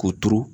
K'o turu